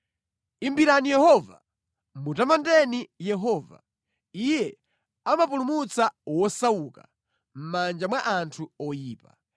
Imbirani Yehova! Mutamandeni Yehova! Iye amapulumutsa wosauka mʼmanja mwa anthu oyipa.